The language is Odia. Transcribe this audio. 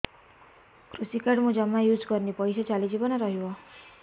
କୃଷି କାର୍ଡ ମୁଁ ଜମା ୟୁଜ଼ କରିନି ପଇସା ଚାଲିଯିବ ନା ରହିବ